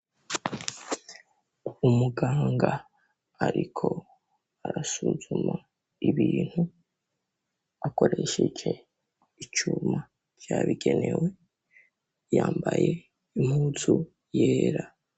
Umuganga ariko arasuzuma ibintu akoresheje icuma cabigenewe, yambaye impuzu yera.